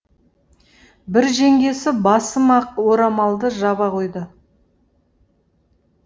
бір жеңгесі басыма ақ орамалды жаба қойды